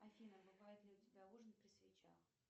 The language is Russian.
афина бывает ли у тебя ужин при свечах